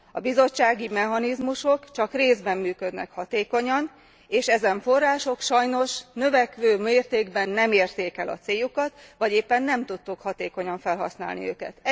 A bizottsági mechanizmusok csak részben működnek hatékonyan, és ezen források sajnos növekvő mértékben nem érték el a céljukat, vagy éppen nem tudtuk hatékonyan felhasználni őket.